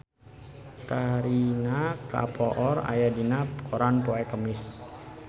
Kareena Kapoor aya dina koran poe Kemis